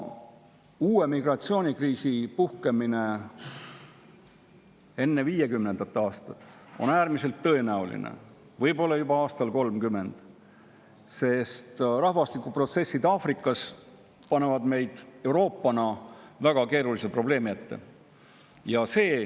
Uue migratsioonikriisi puhkemine enne 2050. aastat on äärmiselt tõenäoline, võib-olla juba aastal 2030, sest rahvastikuprotsessid Aafrikas panevad Euroopa väga keerulise probleemi ette.